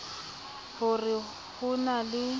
ho re ho na le